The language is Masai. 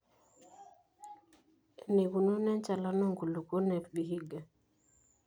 eneikununo enchalan oonkulupok te Vihiga